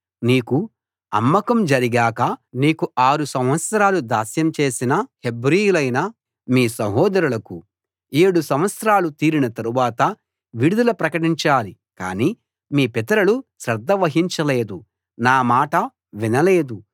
నీకు అమ్మకం జరిగాక నీకు ఆరు సంవత్సరాలు దాస్యం చేసిన హెబ్రీయులైన మీ సహోదరులకు ఏడు సంవత్సరాలు తీరిన తరువాత విడుదల ప్రకటించాలి కాని మీ పితరులు శ్రద్ధ వహించలేదు నా మాట వినలేదు